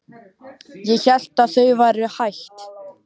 Ég hélt að þau væru hætt.